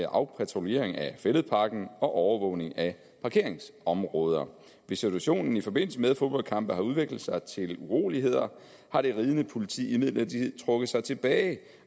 afpatruljering af fælledparken og overvågning af parkeringsområder hvis situationen i forbindelse med fodboldkampe har udviklet sig til uroligheder har det ridende politi imidlertid trukket sig tilbage